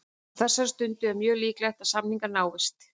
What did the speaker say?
Á þessari stundu er mjög líklegt að samningar náist.